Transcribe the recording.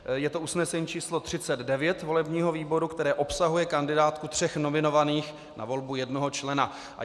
Je to usnesení číslo 39 volebního výboru, které obsahuje kandidátku tří nominovaných na volbu jednoho člena.